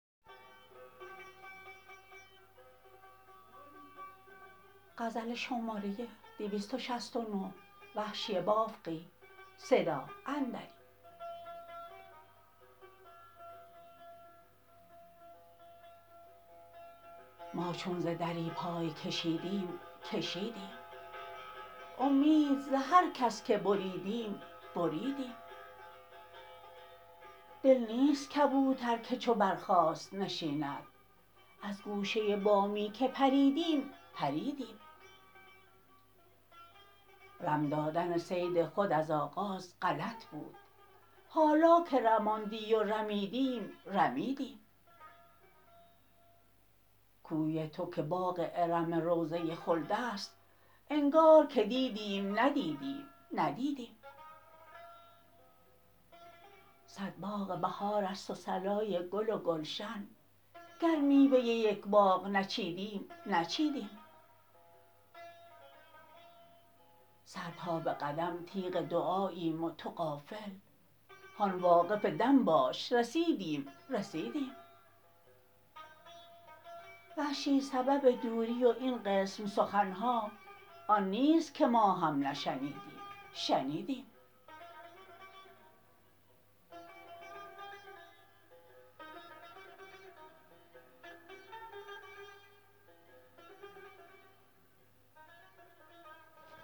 ما چون ز دری پای کشیدیم کشیدیم امید ز هر کس که بریدیم بریدیم دل نیست کبوتر که چو برخاست نشیند از گوشه بامی که پریدیم پریدیم رم دادن صید خود از آغاز غلط بود حالا که رماندی و رمیدیم رمیدیم کوی تو که باغ ارم روضه خلد است انگار که دیدیم ندیدیم ندیدیم صد باغ بهار است و صلای گل و گلشن گر میوه یک باغ نچیدیم نچیدیم سر تا به قدم تیغ دعاییم و تو غافل هان واقف دم باش رسیدیم رسیدیم وحشی سبب دوری و این قسم سخن ها آن نیست که ما هم نشنیدیم شنیدیم